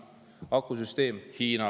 Akusüsteem – Hiina.